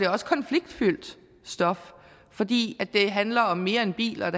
også konfliktfyldt stof fordi det handler om mere end biler